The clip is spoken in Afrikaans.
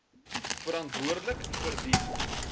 verantwoordelik vir die